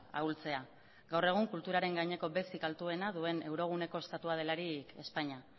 ahultzea gaur egun kulturaren gaineko bezik altuena duen euroguneko estatua delarik espainia